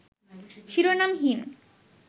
শিরোনামহীন